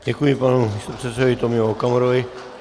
Děkuji panu místopředsedovi Tomio Okamurovi.